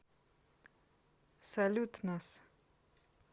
салют нас